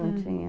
Não tinha...